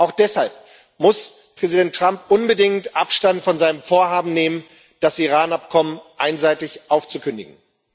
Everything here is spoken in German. Auch deshalb muss Präsident Trump unbedingt Abstand von seinem Vorhaben nehmen, das Iran Abkommen einseitig aufzukündigen.